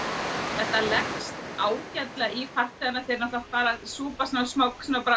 þetta leggst ágætlega í farþegana þeir náttúrulega súpa smá